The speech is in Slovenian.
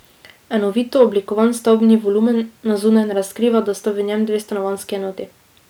Enovito oblikovan stavbni volumen na zunaj ne razkriva, da sta v njem dve stanovanjski enoti.